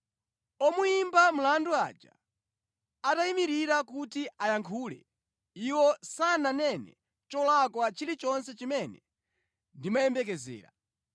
Omuyimba mlandu aja atayimirira kuti ayankhule, iwo sananene cholakwa chilichonse chimene ndimayembekezera.